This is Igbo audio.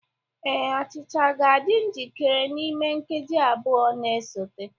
Ee, achịcha ga-adị njikere n'ime nkeji abụọ na-esote.